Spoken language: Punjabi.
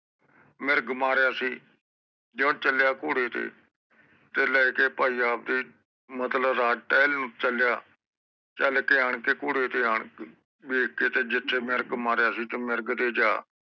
ਮਿਰਗ ਮਾਰਿਆ ਸੀ ਜਿਓ ਚੱਲਿਆ ਘੋੜੇ ਤੇ ਤੇ ਲੈਕੇ ਭਾਈ ਆਵਦੇ ਮਤਲਬ ਰਾਜ ਟਹਿਲ ਨੂੰ ਚੱਲਿਆ ਚਲ ਕੇ ਆਣਕੇ ਕੋਰੇ ਤੇ ਆਣਕੇ ਵੇਖ ਕ ਤੇ ਜਿਥੇ ਮਿਰਗ ਮਾਰਿਆ ਸੀ ਤੇ ਮਿਰਗ ਤੇ ਜਾ